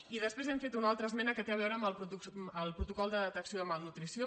i després hem fet una altra esmena que té a veure amb el protocol de detecció de malnutrició